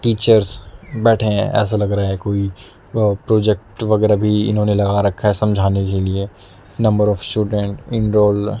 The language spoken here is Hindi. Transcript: टीचर्स बैठे हैं ऐसा लग रहा है कोई अह प्रोजेक्ट वगैरह भी इन्होंने लगा रखा है समझाने के लिए नंबर ऑफ स्टूडेंट एनरोल --